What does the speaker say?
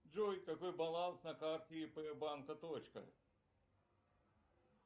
джой какой баланс на карте ип банка точка